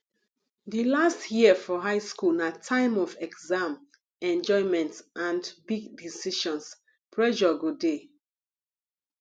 di last year for high school na time of exam enjoyment and big decisions pressure go dey